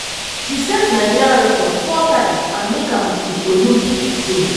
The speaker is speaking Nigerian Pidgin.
she set nigeria record four times and make am to di olympic team.